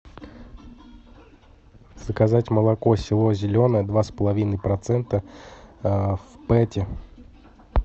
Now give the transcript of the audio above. заказать молоко село зеленое два с половиной процента в пэте